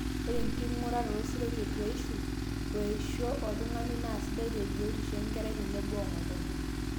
ore enking'urata sidai tetuaishu o eisho oltun'gani naa sidai te biotisho enkerai tenebo ong'otonye